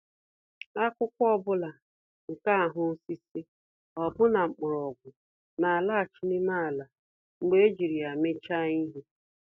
Akụkụ ọ bụla nke ahụ osisi, ọbụna mgbọrọgwụ, n'alaghachi n'ime ala mgbe ejiri ya emechaa ihe.